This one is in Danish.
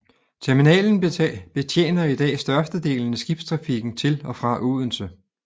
Terminalen betjener i dag størstedelen af skibstrafikken til og fra Odense